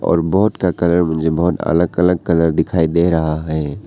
और बोट का कलर मुझे बहोत अलग अलग कलर दिखाई दे रहा है।